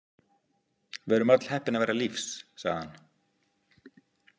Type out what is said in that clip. Við erum öll heppin að vera lífs, sagði hann.